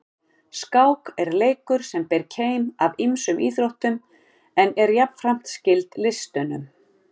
Skák er leikur sem ber keim af ýmsum íþróttum en er jafnframt skyld listunum.